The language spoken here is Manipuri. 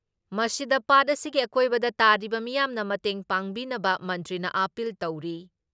ꯃꯁꯤꯗ ꯄꯥꯠ ꯑꯁꯤꯒꯤ ꯑꯀꯣꯏꯕꯗ ꯇꯥꯔꯤꯕ ꯃꯤꯌꯥꯝꯅ ꯃꯇꯦꯡ ꯄꯥꯡꯕꯤꯅꯕ ꯃꯟꯇ꯭ꯔꯤꯅ ꯑꯥꯄꯤꯜ ꯇꯧꯔꯤ ꯫